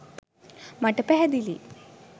මට පැහැදිලිය.